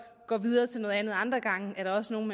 går videre til noget andet og andre gange er der også nogle